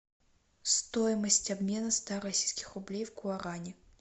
стоимость обмена ста российских рублей в гуарани